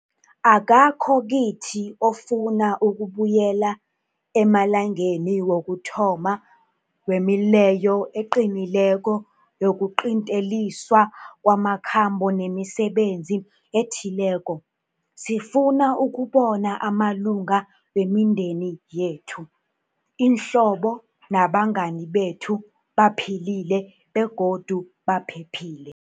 Akakho kithi ofuna ukubuyela emalangeni wokuthoma wemileyo eqinileko yokuqinteliswa kwamakhambo nemisebenzi ethileko. Sifuna ukubona amalunga wemindeni yethu, iinhlobo nabangani bethu baphilile begodu baphephile.